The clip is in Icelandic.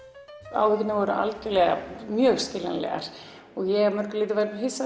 áhyggjurnar voru skiljanlegar og ég var hissa